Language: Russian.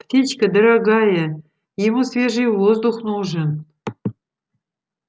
птичка дорогая ему свежий воздух нужен